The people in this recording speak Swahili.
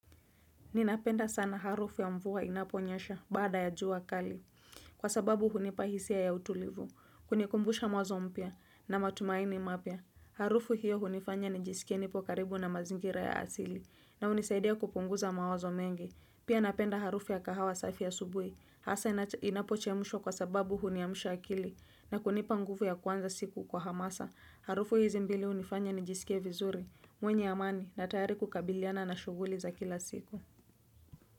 Ninapenda sana harufu ya mvua inaponyasha baada ya juu kali. Kwa sababu hunipahisia ya utulivu. Hunikumbusha mwanzo mpya na matumaini mapya. Harufu hiyo hunifanya ni jisike nipo karibu na mazingira ya asili. Na hunisaidia kupunguza mawazo mengi. Pia napenda harufu ya kahawa safi asubuhi. Hasa inapochemushwa kwa sababu huniamusha akili. Na kunipa nguvu ya kuanza siku kwa hamasa. Harufu hizi mbili hunifanya nijisike vizuri. Mwenye amani na tayari kukabiliana na shughuli za kila siku.